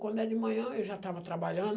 Quando é de manhã, eu já estava trabalhando.